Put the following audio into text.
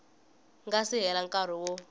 nga si hela nkarhi wo